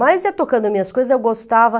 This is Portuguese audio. Mas ia tocando minhas coisas, eu gostava.